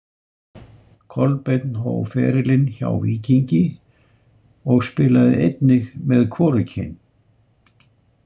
Kolbeinn hóf ferilinn hjá Víkingi og spilaði einnig með hvorugkyn